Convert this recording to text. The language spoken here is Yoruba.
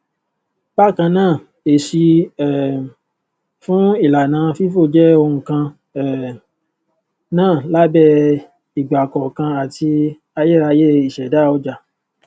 bákan náàèsì um fún ìlànà fifo jẹ ohun kan um náà lábẹ ìgbàkọọkan àti ayérayé ìṣẹdá ọjà